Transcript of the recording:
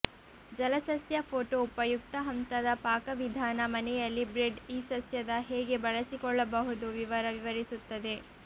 ಜಲಸಸ್ಯ photo ಉಪಯುಕ್ತ ಹಂತದ ಪಾಕವಿಧಾನ ಮನೆಯಲ್ಲಿ ಬ್ರೆಡ್ ಈ ಸಸ್ಯದ ಹೇಗೆ ಬಳಸಿಕೊಳ್ಳಬಹುದು ವಿವರ ವಿವರಿಸುತ್ತದೆ